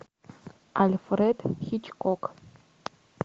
альфред хичкок